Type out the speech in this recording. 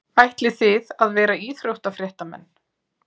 Ætlið þið að vera íþróttafréttamenn?